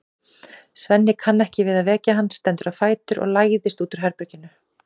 Svenni kann ekki við að vekja hann, stendur á fætur og læðist út úr herberginu.